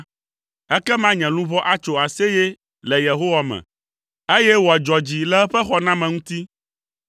Ekema nye luʋɔ atso aseye le Yehowa me, eye wòadzɔ dzi le eƒe xɔname ŋuti.